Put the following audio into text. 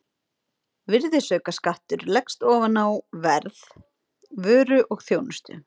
Virðisaukaskattur leggst ofan á verð vöru og þjónustu.